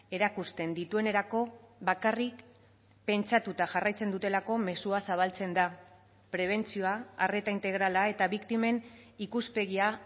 erakusten dituenerako bakarrik pentsatuta jarraitzen dutelako mezua zabaltzen da prebentzioa arreta integrala eta biktimen ikuspegia